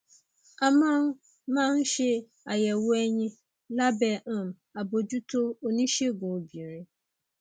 a máa ń máa ń ṣe àyẹwò ẹyin lábẹ um àbójútó oníṣègùn obìnrin